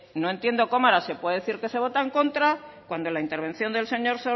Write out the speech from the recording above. no entiendo cómo ahora se puede decir que se vota en contra cuando la intervención del señor